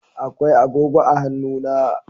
Akwai agogo a hannuna.